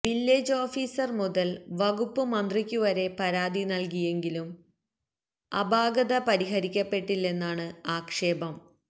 village officer മുതല് വകുപ്പ് മന്ത്രിക്കുവരെ പരാതി നല്കിയെങ്കിലും അപാകത പരിഹരിക്കപ്പെട്ടില്ലെന്നാണ് ആക്ഷേപം